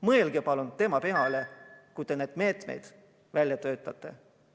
Mõelge palun tema peale, kui te neid meetmeid välja töötate.